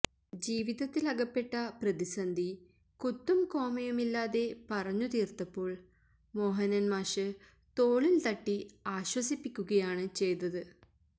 ജീവിതത്തിലകപ്പെട്ട പ്രതിസന്ധി കുത്തും കോമയുമില്ലാതെ പറഞ്ഞു തീര്ത്തപ്പോള് മോഹനന് മാഷ് തോളില് തട്ടി ആശ്വസിപ്പിക്കുകയാണ് ചെയ്തത്